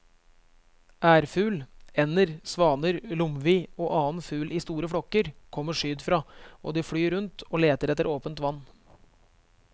Ærfugl, ender, svaner, lomvi og annen fugl i store flokker kommer sydfra og de flyr rundt og leter etter åpent vann.